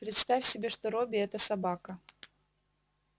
представь себе что робби это собака